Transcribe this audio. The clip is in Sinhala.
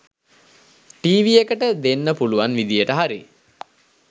ටීවි එකට දෙන්න පුලුවන් විදියට හරි